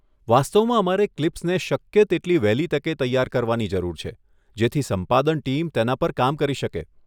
વાસ્તવમાં અમારે ક્લિપ્સને શક્ય તેટલી વહેલી તકે તૈયાર કરવાની જરૂર છે, જેથી સંપાદન ટીમ તેના પર કામ કરી શકે.